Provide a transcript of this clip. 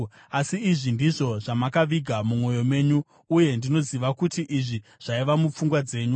“Asi izvi ndizvo zvamakaviga mumwoyo menyu, uye ndinoziva kuti izvi zvaiva mupfungwa dzenyu.